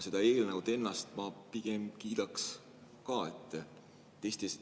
Seda eelnõu ennast ma pigem kiidaksin.